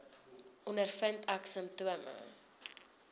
ondervind ek simptome